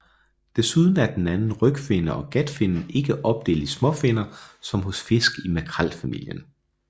Desuden er den anden rygfinne og gatfinnen ikke opdelt i småfinner som hos fisk i makrelfamilien